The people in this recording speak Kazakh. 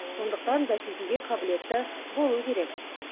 сондықтан бәсекеге қабілетті болу керек